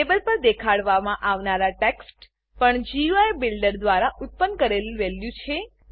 label પર દેખાડવામાં આવનાર ટેક્સ્ટ પણ ગુઈ બિલ્ડર દ્વારા ઉત્પન્ન કરેલ વેલ્યુ છે